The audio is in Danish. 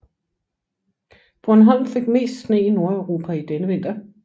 Bornholm fik mest sne i Nordeuropa denne vinter